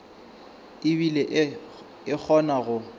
e bile e kgona go